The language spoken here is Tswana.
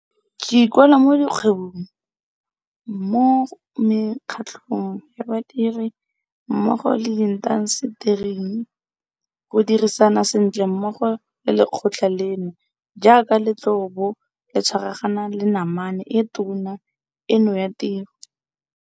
Ke ikuela mo dikgwebong, mo mekgatlhong ya badiri, mmogo le mo diintasetering go dirisana sentle mmogo le lekgotla leno jaaka le tla bo le tshwaragana le namane e tona eno ya tiro.